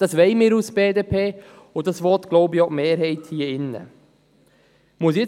Das wollen wir als BDP, und das will, glaube ich, auch die Mehrheit hier im Saal.